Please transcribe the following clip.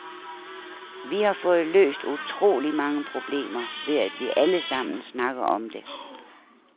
Vi har fået løst utroligt mange problemer, ved at vi alle sammen snakker om det.